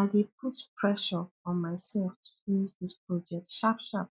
i dey put pressure on myself to finish this project sharp sharp